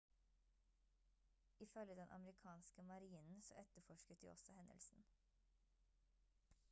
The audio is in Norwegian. ifølge den amerikanske marinen så etterforsket de også hendelsen